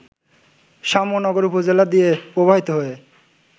শ্যামনগর উপজেলা দিয়ে প্রবাহিত হয়ে